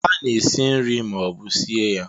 A na-esi nri ma ọ bụ sie ya